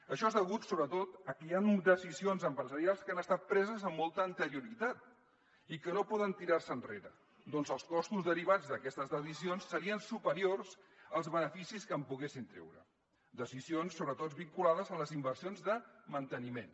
això és degut sobretot a que hi han decisions empresarials que han estat preses amb molta anterioritat i que no poden tirar se enrere perquè els costos derivats d’aquestes decisions serien superiors als beneficis que en poguessin treure decisions sobretot vinculades a les inversions de manteniment